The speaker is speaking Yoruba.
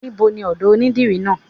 Níboni ọ̀dọ̀ onídìrí náà?